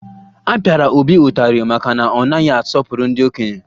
A pịara Obi ụtarị maka na ọ naghị asọpụrụ ndị okenye